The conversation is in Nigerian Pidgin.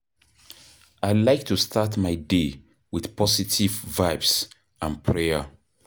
I like to start my day with positive vibes and prayer.